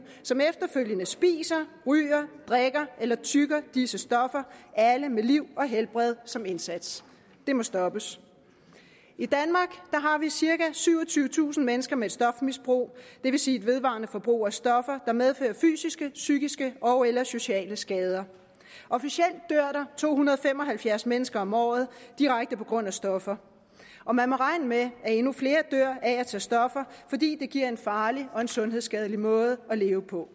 som efterfølgende spiser ryger drikker eller tygger disse stoffer alle med liv og helbred som indsats det må stoppes i danmark har vi cirka syvogtyvetusind mennesker med et stofmisbrug det vil sige et vedvarende forbrug af stoffer der medfører fysiske psykiske ogeller sociale skader officielt dør to hundrede og fem og halvfjerds mennesker om året direkte på grund af stoffer og man må regne med at endnu flere dør af at tage stoffer fordi det giver en farlig og sundhedsskadelig måde at leve på